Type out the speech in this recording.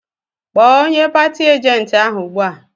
Kpọọ onye pati ajenti ahụ ugbu a!